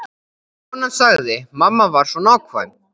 Konan sagði: Mamma var svo nákvæm.